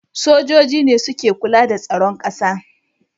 Sojoji ne suke kula da tsaron ƙasa